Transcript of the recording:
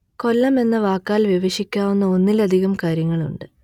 കൊല്ലം എന്ന വാക്കാൽ വിവക്ഷിക്കാവുന്ന ഒന്നിലധികം കാര്യങ്ങളുണ്ട്